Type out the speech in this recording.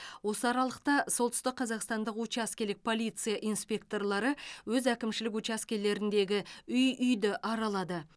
осы аралықта солтүстік қазақстандық учаскелік полиция инспекторлары өз әкімшілік учаскелеріндегі үй үйді аралады